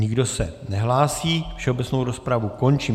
Nikdo se nehlásí, všeobecnou rozpravu končím.